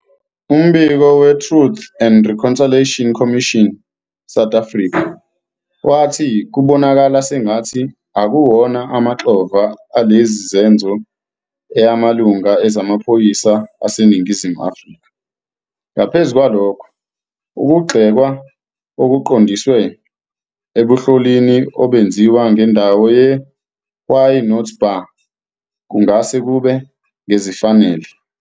Umbiko we-Truth and Reconciliation Commission, South Africa, wathi, "Kubonakala sengathi akuwona amaxhova alesi senzo eyangamalunga ezamaphoyisa aseNingizimu Afrika. Ngaphezu kwalokho, ukugxekwa okuqondiswe ebunhlolini obenziwa ngendawo ye- "Why Not Bar" kungase kube ngezifanele.